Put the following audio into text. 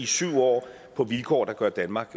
syv år på vilkår der gør danmark